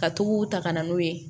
Ka tugu ta ka na n'o ye